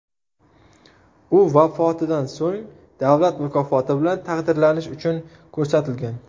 U vafotidan so‘ng davlat mukofoti bilan taqdirlanish uchun ko‘rsatilgan.